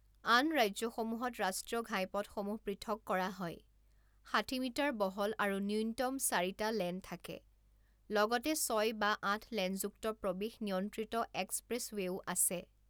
আন ৰাজ্যসমূহত ৰাষ্ট্ৰীয় ঘাইপথসমূহ পৃথক কৰা হয়, ষাঠি মিটাৰ বহল আৰু ন্যূনতম চাৰিটা লেন থাকে, লগতে ছয় বা আঠ লেনযুক্ত প্ৰৱেশ নিয়ন্ত্ৰিত এক্সপ্ৰেছৱে'ও আছে।